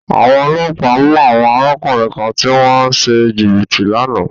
Àwọn ọlọ́pàá mú àwọn arákùnrin kan tí wọ́n ń ṣe jìbìtì lánàá.